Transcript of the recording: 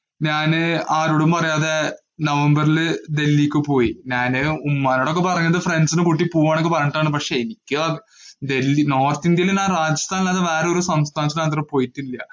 ഞാന് ആരോടും പറയാതെ നവംബറില് ദെല്‍ഹിക്ക് പോയി. ഞാന് ഉമ്മനോടൊക്കെ പറഞ്ഞത് friends നെ ഒക്കെ കൂട്ടി പോവാണ് എന്നൊക്കെ പറഞ്ഞിട്ടാണ്. പക്ഷേ, എനിക്ക് ദല്‍ഹി നോര്‍ത്ത് ഇന്ത്യയില് ഞാന്‍ രാജസ്ഥാന്‍ അല്ലാതെ വേറെ ഒരു സംസ്ഥാനത്തും പോയിട്ടില്ല.